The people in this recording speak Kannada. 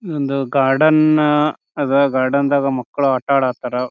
ನಾವ್ ಗಾರ್ಡೆನ್ನ ಅದಾ ಗಾರ್ಡೆನ್ ದಾಗ ಮಕ್ಳು ಆತಾಡತ್ತಾರಾ.